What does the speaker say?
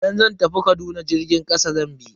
Idan zan tafi Kaduna jirgin kasa zan bi.